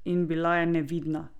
In bila je nevidna!